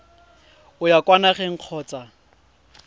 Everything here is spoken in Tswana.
o ya kwa nageng kgotsa